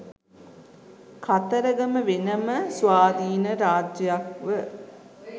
කතරගම වෙන ම ස්වාධීන රාජ්‍යයක් ව